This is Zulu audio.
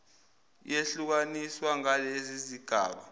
yehlukaniswa ngalezi zigaba